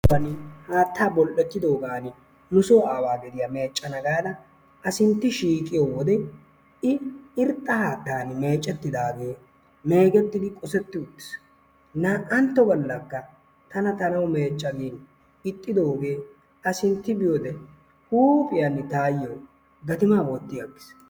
Haattaa bol"ettidoogan nusoo aawaa gwdiyaa meccana gaada a sintti shiiqqiyoo wode i irxxa haattaani meeccettidagee ,eegettidi qosetti uttiis. Na"antto gallakka tana ta na'awu meecca giin ixxidoogee a sintti biyoode huuphphiyaan taayoo gatimaa wootti aggiis.